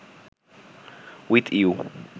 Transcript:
with you